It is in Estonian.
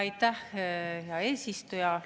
Aitäh, hea eesistuja!